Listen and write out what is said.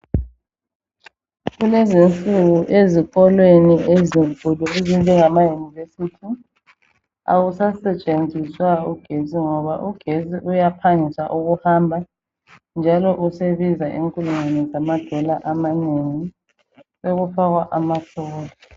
Kulezinsuku ezikolweni ezinkulu ezinjengama-university, akusasetshenziswa ugetsi, ngoba uyaphangisa hamba, njalo usebiza inkulungwane zama dola amanengi. Sekufakwa ama-solar.